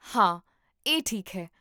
ਹਾਂ, ਇਹ ਠੀਕ ਹੈ